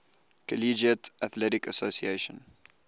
collegiate athletic association